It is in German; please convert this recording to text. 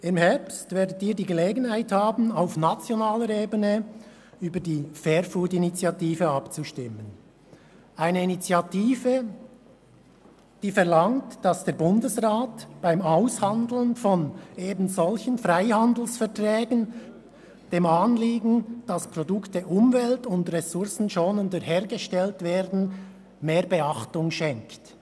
Im Herbst werden Sie die Gelegenheit haben, auf nationaler Ebene über die «Fair-Food-Initiative» abzustimmen – eine Initiative, die verlangt, dass der Bundesrat beim Aushandeln von ebensolchen Freihandelsverträgen dem Anliegen, dass Produkte ressourcen- und umweltschonender hergestellt werden, mehr Beachtung schenkt.